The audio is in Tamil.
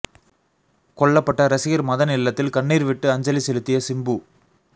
கொல்லப்பட்ட ரசிகர் மதன் இல்லத்தில் கண்ணீர் விட்டு அஞ்சலி செலுத்திய சிம்பு